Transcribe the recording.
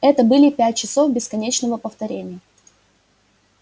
это были пять часов бесконечного повторения